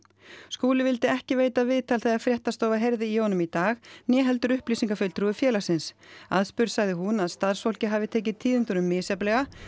Skúli vildi ekki veita viðtal þegar fréttastofa heyrði í honum í dag né heldur upplýsingafulltrúi félagsins aðspurð sagði hún að starfsfólkið hafi tekið tíðindunum misjafnlega